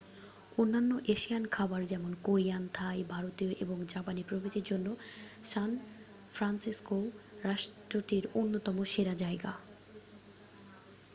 অন্যান্য এশিয়ান খাবার যেমন কোরিয়ান থাই ভারতীয় এবং জাপানি প্রভৃতির জন্য সান ফ্রান্সিসকোও রাষ্ট্রটির অন্যতম সেরা জায়গা